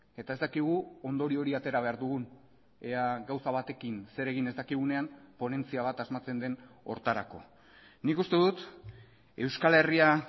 eta ez dakigu ondorio hori atera behar dugun ea gauza batekin zer egin ez dakigunean ponentzia bat asmatzen den horretarako nik uste dut euskal herria